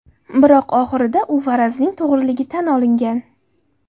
Biroq, oxirida, u farazning to‘g‘riligi tan olingan.